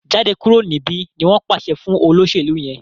Jáde kúrò níbí! ní wón pàṣẹ fún olóṣèlú yén.